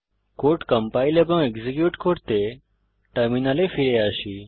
code compile এবং execute করতে টার্মিনালে ফিরে আসি